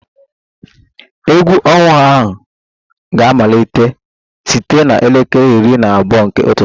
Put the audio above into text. Egwu ọnwa ga-amalite site na elekere iri na abụọ nke ụtụtụ